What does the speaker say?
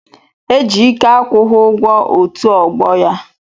Ejike akwụghị ugwo otu ogbo ya.